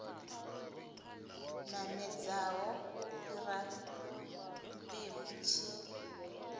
namedzaho u fhira mpimo tshi